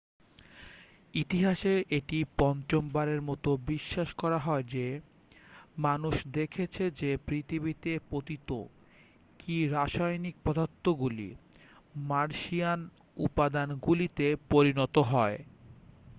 ইতিহাসে এটি পঞ্চমবারের মতো বিশ্বাস করা হয় যে মানুষ দেখেছে যে পৃথিবীতে পতিত কি রাসায়নিক পদার্থগুলি মার্শিয়ান উপাদানগুলিতে পরিণত হয়